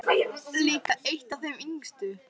Líka eitt af þeim yngstu.